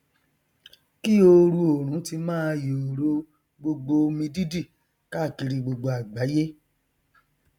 kí ooru oòrùn ti máa yòòrò gbogbo omidídì káàkiri àgbàyé